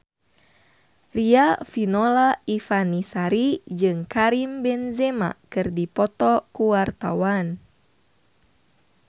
Riafinola Ifani Sari jeung Karim Benzema keur dipoto ku wartawan